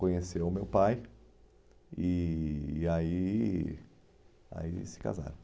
Conheceu o meu pai e e aí aí se casaram.